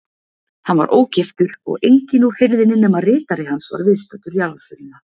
Hann var ógiftur og enginn úr hirðinni nema ritari hans var viðstaddur jarðarförina.